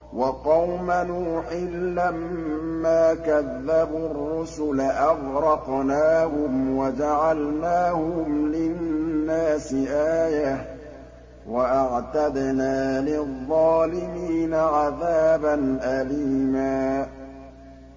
وَقَوْمَ نُوحٍ لَّمَّا كَذَّبُوا الرُّسُلَ أَغْرَقْنَاهُمْ وَجَعَلْنَاهُمْ لِلنَّاسِ آيَةً ۖ وَأَعْتَدْنَا لِلظَّالِمِينَ عَذَابًا أَلِيمًا